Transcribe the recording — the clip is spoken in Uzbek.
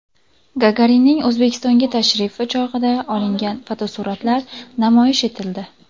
Gagarinning O‘zbekistonga tashrifi chog‘ida olingan fotosuratlar namoyish etildi.